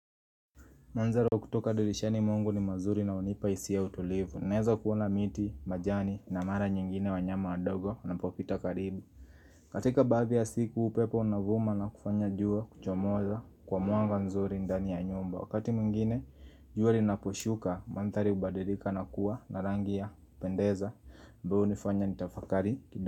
Manzaro kutoka dirishani mwangu ni mazuri na hunipa hisia ya utulivu naeza kuona miti, majani na mara nyingine wa nyama wadogo wanapopita karibu Katika baadhi ya siku upepo unavuma na kufanya jua kuchomoza kwa mwanga nzuri ndani ya nyumba wakati mwigine jua linaposhuka mandhari ubadilika na kuwa na rangi ya kupendeza ambayo hunifanya nitafakari.